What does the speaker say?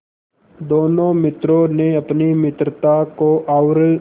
दोनों मित्रों ने अपनी मित्रता को और